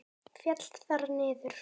Féll þar niður.